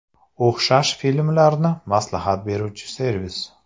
O‘xshash filmlarni maslahat beruvchi servis.